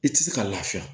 I tɛ se ka lafiya